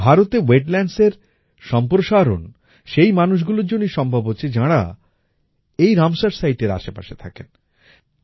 ভারতে wetlandsএর সম্প্রসারণ সেই মানুষগুলোর জন্যই সম্ভব হচ্ছে যাঁরা এই রামসার সিতে এর আশেপাশে থাকেন